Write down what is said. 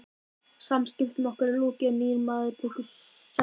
Samskiptum okkar er lokið og nýr maður tekur sæti yðar.